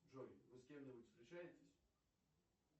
джой вы с кем нибудь встречаетесь